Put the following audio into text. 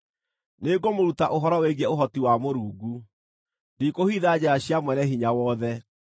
“Nĩngũmũruta ũhoro wĩgiĩ ũhoti wa Mũrungu; ndikũhitha njĩra cia Mwene-Hinya-Wothe.